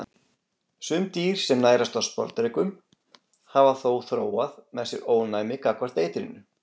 Sum dýr sem nærast á sporðdrekum hafa þó þróað með sér ónæmi gagnvart eitrinu.